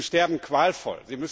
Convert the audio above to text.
Und sie sterben qualvoll.